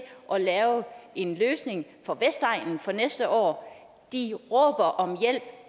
at lave en løsning for vestegnen for næste år de råber om hjælp